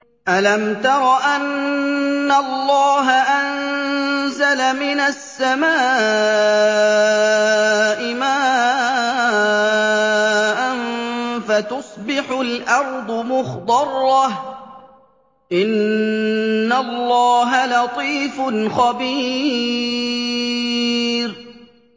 أَلَمْ تَرَ أَنَّ اللَّهَ أَنزَلَ مِنَ السَّمَاءِ مَاءً فَتُصْبِحُ الْأَرْضُ مُخْضَرَّةً ۗ إِنَّ اللَّهَ لَطِيفٌ خَبِيرٌ